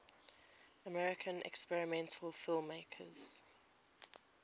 american experimental filmmakers